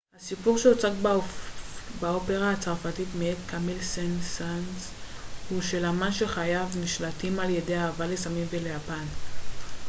הסיפור שהוצג באופרה הצרפתית מאת קמיל סן-סאנס הוא של אמן שחייו נשלטים על ידי אהבה לסמים וליפן